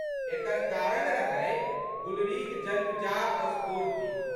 एकर कारण रहै गुलरीक जन्मजात स्फूर्त्ति।